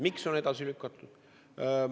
Miks on edasi lükatud?